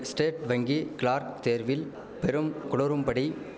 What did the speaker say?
state வங்கி clerk தேர்வில் பெரும்குளறும்படி